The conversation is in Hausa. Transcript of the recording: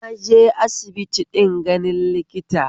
Naje aisbiti din ganin likita